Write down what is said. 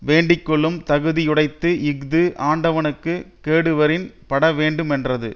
வேண்டி கொள்ளும் தகுதி யுடைத்து இஃது ஆண்டவனுக்குக் கேடுவரின் படவேண்டுமென்றது